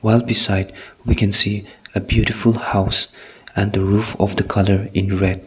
a beside we can a beautiful house and the roof of the colour is red.